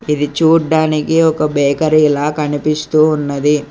ఇది చూడ్డానికి ఒక బేకరిలా కనిపిస్తూ ఉన్నది.